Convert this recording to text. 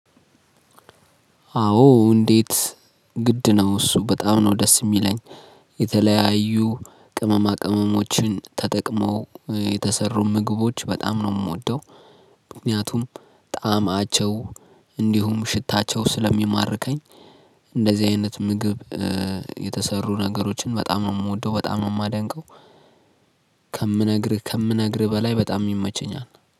አዎ እንዴት? ግድ ነው እሱ በጣም ነው ደስ እሚለኝ የተለያዩ ቅመማ ቅመሞችን ተጠቅመው እ የተሰሩ ምግቦች በጣም ነው እምወደው። ምክንያቱም ጣዕማቸው እንዲሁም ሽታቸው ስለሚማርከኝ እንደዚህ አይነት ምግብ እ የተሰሩ ነገሮችን በጣም ነው እምወደው። በጣም ነው እማደንቀው። ከምነግርህ ከምነግርህ በላይ በጣም ይመቸኛል።